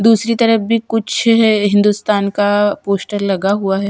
दूसरी तरफ भी कुछ है हिंदुस्तान का पोस्टर लगा हुआ है।